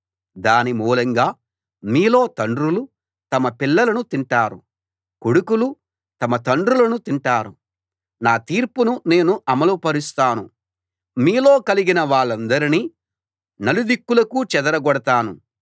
దాని మూలంగా మీలో తండ్రులు తమ పిల్లలను తింటారు కొడుకులు తమ తండ్రులను తింటారు నా తీర్పును నేను అమలు పరుస్తాను మీలో మిగిలిన వాళ్ళందరినీ నలు దిక్కులకూ చెదరగొడతాను